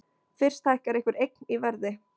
Fyrst hækkar einhver eign í verði.